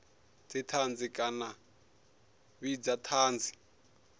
dzithanzi kana a vhidza thanzi